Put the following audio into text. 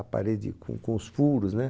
A parede com com os furos, né?